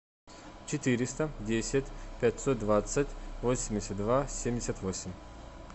четыреста десять пятьсот двадцать восемьдесят два семьдесят восемь